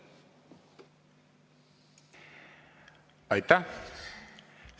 Aitäh!